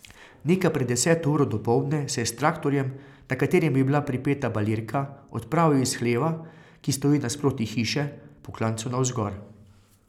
Nekaj pred deseto uro dopoldne se je s traktorjem, na katerem je bila pripeta balirka, odpravil iz hleva, ki stoji nasproti hiše, po klancu navzgor.